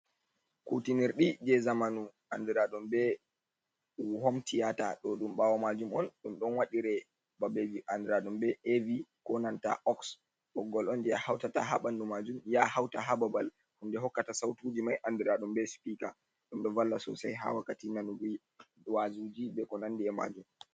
Kutinir ɗi je zamanu andiraɗum be homtiya'ta. Ɗo ɗum bawo majum on ɗum don waɗire babe vi andiraɗum be a'evi konanta oks, boggol on je ya hautata ha banɗu majum. ya hauta ha babal hunɗe hokkata sautuji mai anduraɗum be sipika. Ɗomɗo valla sosai ha wakkati nanugi wazuji be ko nandi’e majum.